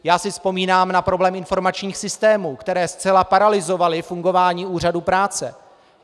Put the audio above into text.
Já si vzpomínám na problém informačních systémů, které zcela paralyzovaly fungování úřadu práce.